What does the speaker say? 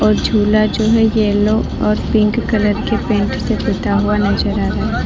और झूला जो है येलो और पिंक कलर के पेंट से पुता हुआ नजर आ रहा है।